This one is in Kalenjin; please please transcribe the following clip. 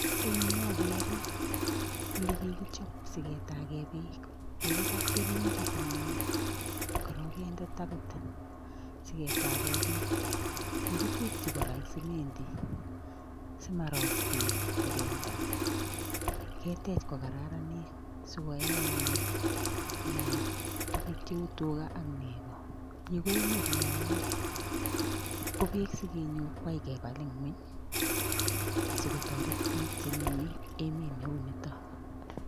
Ing'yu agere olekikichob siketake peek kikibal keringet anyun korok kende tapit siketake peek. kikitekchi kora ing' simendi siarot peek kobendat keteech kokararanit sikoee anyun tuguk cheuu tuga ak nego. yu ko emet neyamat, ko peek sikenyor kwai kebal ng'wuny asikotoret biik chemenye emet neunito